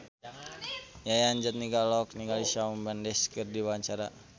Yayan Jatnika olohok ningali Shawn Mendes keur diwawancara